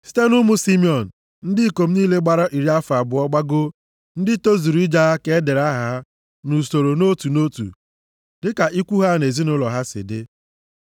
Site nʼụmụ Simiọn, ndị ikom niile gbara iri afọ abụọ gbagoo, ndị tozuru ije agha ka e dere aha ha nʼusoro nʼotu nʼotu dịka ikwu ha na ezinaụlọ ha si dị.